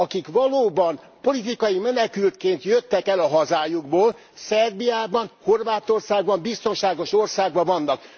Akik valóban politikai menekültként jöttek el a hazájukból, Szerbiában, Horvátországban biztonságos országban vannak.